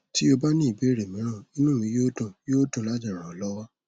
tí o bá ní ìbéèrè mìíràn inú mi yóò dùn yóò dùn láti ràn ọ lọwọ